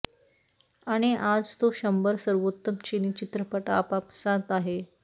आणि आज तो शंभर सर्वोत्तम चीनी चित्रपट आपापसांत आहे